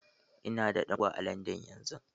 Ina da ɗan uwa a Landan yanzu.